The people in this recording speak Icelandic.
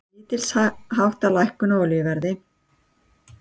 Lítilsháttar lækkun á olíuverði